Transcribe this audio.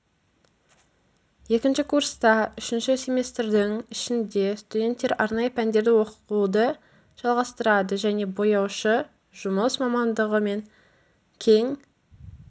екінші курста үшінші семестрдің ішінде студенттер арнайы пәндерді оқуды жалғастырады және бояушы жұмыс мамандығы мен кең